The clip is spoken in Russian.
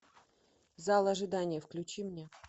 зал ожидания включи мне